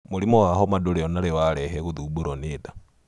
Mũrimũ wa homa ndũrĩ onarĩ warehe gũthombũro nĩ nda.